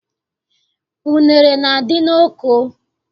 Unere na- adị n'oko